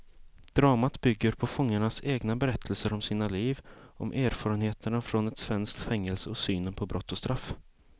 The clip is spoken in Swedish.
Dramat bygger på fångarnas egna berättelser om sina liv, om erfarenheterna från ett svenskt fängelse och synen på brott och straff.